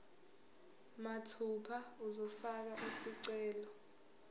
mathupha uzofaka isicelo